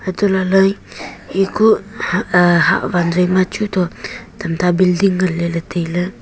anto laha lay eye kuh hahwan joima chu tam ta bilding ngan ley ley tai ley.